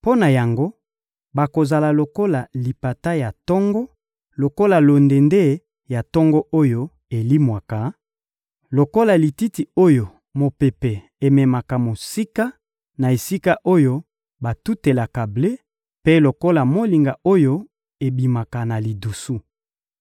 Mpo na yango, bakozala lokola lipata ya tongo, lokola londende ya tongo oyo elimwaka, lokola lititi oyo mopepe ememaka mosika na esika oyo batutelaka ble, mpe lokola molinga oyo ebimaka na lidusu.